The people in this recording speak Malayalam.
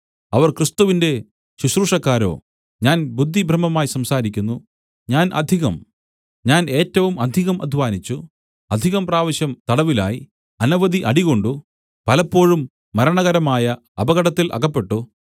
അവർ ക്രിസ്തുവിന്റെ ശുശ്രൂഷക്കാരോ ഞാൻ ബുദ്ധിഭ്രമമായി സംസാരിക്കുന്നു ഞാൻ അധികം ഞാൻ ഏറ്റവും അധികം അദ്ധ്വാനിച്ചു അധികം പ്രാവശ്യം തടവിലായി അനവധി അടികൊണ്ടു പലപ്പോഴും മരണകരമായ അപകടത്തിൽ അകപ്പെട്ടു